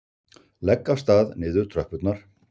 Legg af stað niður tröppurnar.